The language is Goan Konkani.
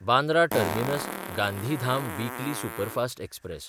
Bandra टर्मिनस–गांधीधाम weekly superfast express